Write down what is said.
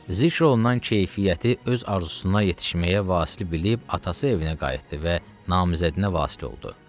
Zikr olunan keyfiyyəti öz arzusuna yetişməyə vasitə bilib atası evinə qayıtdı və namizədinə vasil oldu.